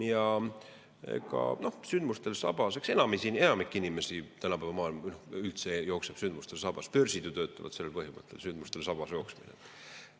Aga eks enamik inimesi tänapäeva maailmas üldse jookseb sündmustel sabas, börsid ju töötavad sellel põhimõttel: sündmustel sabas jooksmine.